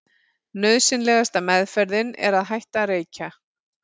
Nauðsynlegasta meðferðin er að hætta að reykja.